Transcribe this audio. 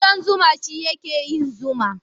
Kuɗan zuma shi ya ke yin zuma